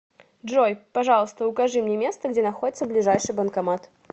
джой пожалуйста укажи мне место где находится ближайший банкомат